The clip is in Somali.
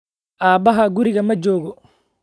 Aabbahaa guriga ma joogo?